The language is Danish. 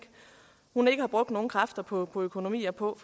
hun ikke har brugt nogen kræfter på på økonomi og på